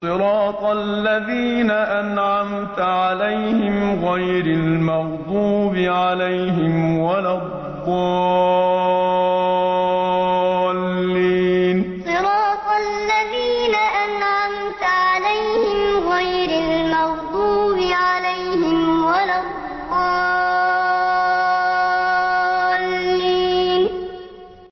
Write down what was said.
صِرَاطَ الَّذِينَ أَنْعَمْتَ عَلَيْهِمْ غَيْرِ الْمَغْضُوبِ عَلَيْهِمْ وَلَا الضَّالِّينَ صِرَاطَ الَّذِينَ أَنْعَمْتَ عَلَيْهِمْ غَيْرِ الْمَغْضُوبِ عَلَيْهِمْ وَلَا الضَّالِّينَ